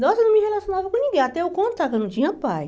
Nossa, eu não me relacionava com ninguém, até eu contar que eu não tinha pai.